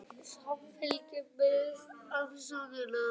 Samfylkingin biðst afsökunar